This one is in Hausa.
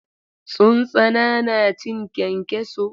Tsuntsana na cin kyankyaso.